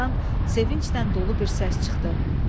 Camaatdan sevinclə dolu bir səs çıxdı.